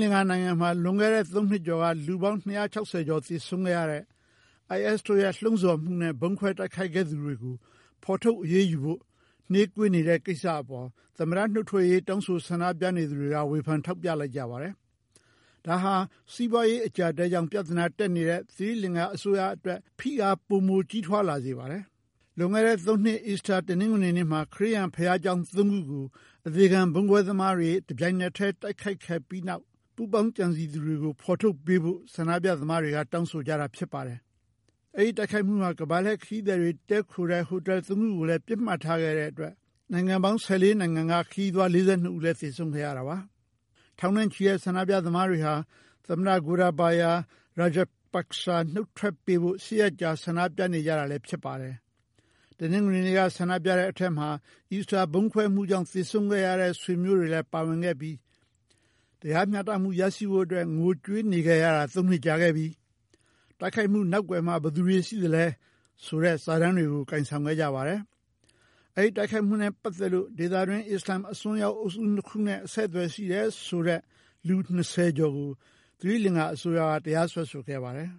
လင်္ကာနိုင်ငံမှာ လွန်ခဲ့တဲ့ ၃ နှစ်ကျော်က လူပေါင်း ၂၆၀ ကျော် သေဆုံးခဲ့ရတဲ့ IS တို့ရဲ့ လှုံ့ဆော်မှုနဲ့ ဗုံးခွဲတိုက်ခိုက်ခဲ့သူတွေကို ဖော်ထုတ်အရေးယူဖို့ နှေးကွေးနေခဲ့တဲ့ ကိစ္စအပေါ် သမ္မတနုတ်ထွက်ရေး တောင်းဆို ဆန္ဒပြနေသူတွေက ဝေဖန် ထောက်ပြလိုက်ကြပါတယ်။ ဒါဟာ စီးပွားရေး အကျပ်အတည်းကြောင့် ပြဿနာတက်နေတဲ့ သီရိလင်္ကာ အစိုးရအတွက် ဖိအား ပိုမိုကြီးထွားလာစေပါတယ်။ လွန်ခဲ့တဲ့ ၃ နှစ် အီစတာ တနင်္ဂွေနနေ့မှာ ခရစ်ယာန်ဘုရားကျောင်း ၃ ခုကို အသေခံ ဗုံးခွဲသမားတွေက တပြိုင်နက်တည်း တိုက်ခိုက်မှု နောက်ကွယ်က ပူးပေါင်းကြံစည်သူတွေကို ဖော်ထုတ်ပေးဖို့ ဆန္ဒပြသမားတွေ တောင်းဆိုကြတာ ဖြစ်ပါတယ်။ အဲဒီတိုက်ခိုက်မှုဟာ ကမ္ဘာလှည့်ခရီးသည်တွေ တည်းခိုတဲ့ ဟိုတယ် ၃ ခုကိုလည်း ပစ်မှတ်ထားခဲ့ပြီး နိုင်ငံ ၁၄ နိုင်ငံက ခရီးသည် ၄၂ ဦးလည်း သေဆုံးခဲ့ရတာပါ။ ထောင်နဲ့ချီတဲ့ ဆန္ဒပြသမားတွေဟာ သမ္မတ Gotabaya Rajapaksa နုတ်ထွက်ပေးဖို့ ၈ ရက်ကြာ ဆန္ဒပြနေခဲ့ကြတာလည်း ဖြစ်ပါတယ်။ တနင်္ဂနွေနေ့က ဆန္ဒပြတဲ့အထဲမှာ အီစတာ ဗုံးခွဲမှုကြောင့် သေဆုံးခဲ့ရတဲ့ ဆွေမျိုးတွေလည်း ပါဝင်ခဲ့ပြီး "တရားမျှတမှု ရရှိဖို့အတွက် ငိုကြွေးနေခဲ့ရတာ ၃ နှစ်ကြာခဲ့ပြီ"၊ "တိုက်ခိုက်မှုနောက်ကွယ်မှာ ဘယ်သူတွေရှိသလဲ" ဆိုတဲ့ စာတမ်းတွေကို ကိုင်ဆောင်ခဲ့ကြပါတယ်။ ဒီတိုက်ခိုက်မှုနဲ့ပတ်သက်လို့ ဒေသတွင်း အစ္စလာမ်အစွန်းရောက် အုပ်စုနှစ်ခုနဲ့ အဆက်အသွယ် ရှိခဲ့တယ်ဆိုတဲ့ လူ ၂၀ ကျော်ကို သီရိလင်္ကာအစိုးရက တရားစွဲဆိုခဲ့ပါတယ်